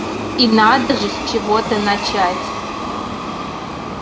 и надо же с чего-то начать